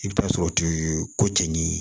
I bɛ taa sɔrɔ turu ko cɛ ni